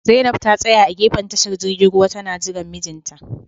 Zainab ta tsaya a gefen tashar jirgin ruwa tana jiran mijinta